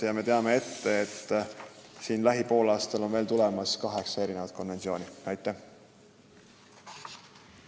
Ja on ette teada, et sel poolaastal on menetlusse tulemas veel mitu selleteemalist eelnõu.